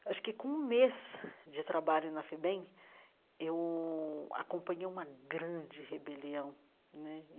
Acho que com um mês de trabalho na FEBEM, eu acompanhei uma grande rebelião né.